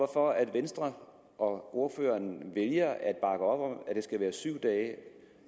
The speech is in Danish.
for at venstre og ordføreren vælger at om at det skal være syv dage